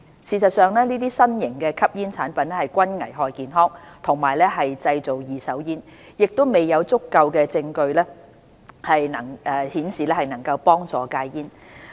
事實上，這些新型吸煙產品均危害健康和製造"二手煙"，亦未有足夠證據顯示能幫助戒煙。